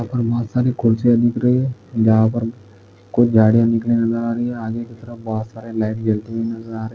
यहाँ पर बहुत सारी कुर्सिया दिख रही है जहा पर कुछ झाडे नजर आ रही है आगे की तरफ बहुत सारे लाइट जलती हुही नजर आ रही --